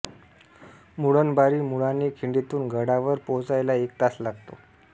मुळणबारी मुळाणे खिंडीतून गडावर पोहोचायला एक तास लागतो